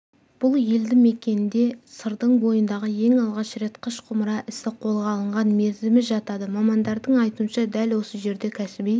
бұл елді мекенде сырдың бойындағы ең алғаш рет қыш-құмыра ісі қолға алынған мерзімі жатады мамандардың айтуынша дәл осы жерде кәсіби